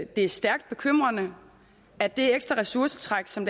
det er stærkt bekymrende at det ekstra ressourcetræk som